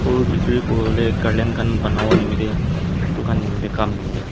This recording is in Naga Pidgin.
phul bikiri kuriwolae banawo nimitae edu khan nimitae kam nimitae.